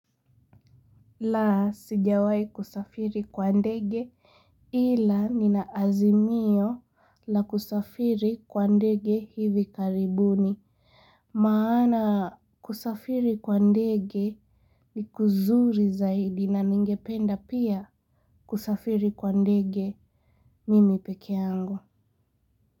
Sijawahi kusafiri kwa ndege. Ila, nina azimio la kusafiri kwa ndege hivi karibuni. Maana, kusafiri kwa ndege ni kuzuri zaidi na ningependa pia kusafiri kwa ndege mimi peke yangu.